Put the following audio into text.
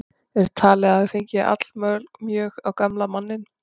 Er talið að það hafi fengið allmjög á gamla manninn.